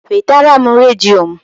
Wetara m redio m!